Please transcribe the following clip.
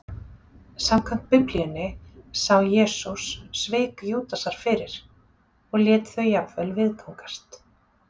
Samkvæmt Biblíunni sá Jesús svik Júdasar fyrir, og lét þau jafnvel viðgangast.